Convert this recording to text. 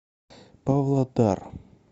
павлодар